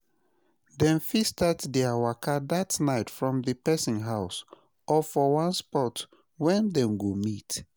dem fit start dia waka dat nite from di pesin house or for one spot wey dem go meet